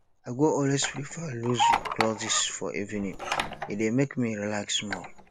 i go always prefer loose clothes for evening e dey make me relax small